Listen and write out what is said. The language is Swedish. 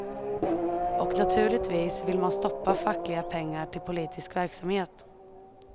Och naturligtvis vill man stoppa fackliga pengar till politisk verksamhet.